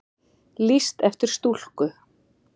Lýst eftir stúlku